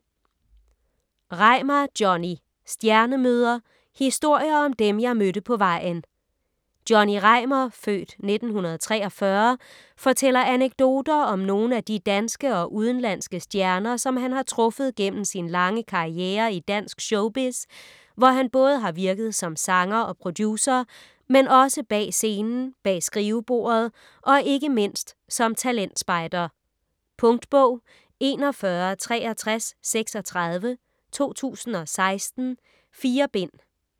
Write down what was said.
Reimar, Johnny: Stjernemøder: historier om dem, jeg mødte på vejen Johnny Reimar (f. 1943) fortæller anekdoter om nogle af de danske og udenlandske stjerner, som han har truffet gennem sin lange karrierre i dansk showbiz, hvor han både har virket som sanger og producer, men også bag scenen, bag skrivebordet og ikke mindst som talentspejder. Punktbog 416336 2016. 4 bind.